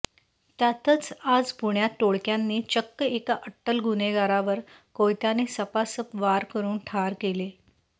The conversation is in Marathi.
त्यातच आज पुण्यात टोळक्यांनी चक्क एका अट्टल गुन्हेगारावर कोयत्याने सपासप वार करून ठार केले